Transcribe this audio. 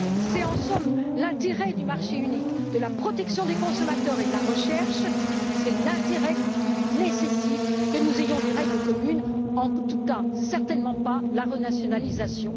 C'est en somme l'intérêt du marché unique, de la protection des consommateurs et de la recherche qui nécessite que nous ayons des règles communes, en tout cas certainement pas la renationalisation.